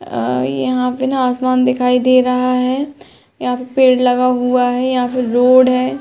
अ यहाँ पे न आसमान दिखाई दे रहा है। यहाँ पे पेड़ लगा हुआ है। यहाँ पे रोड है।